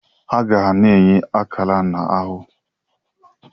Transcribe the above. Agha na-enye akara na ahụ.